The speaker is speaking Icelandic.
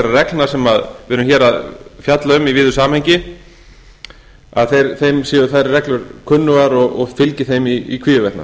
sem við erum hér að fjalla um í víðu samhengi að þeim séu þær reglur kunningjar og fylgi þeim í hvívetna